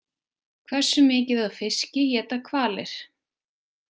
Hversu mikið af fiski éta hvalir?